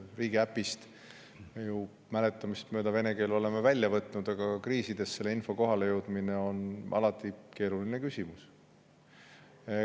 Riigiäpist oleme ju mäletamist mööda vene keele välja võtnud, aga kriisides selle info kohalejõudmine on alati keeruline küsimus.